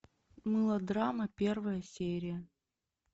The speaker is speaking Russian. мылодрама первая серия